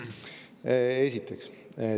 Seda esiteks.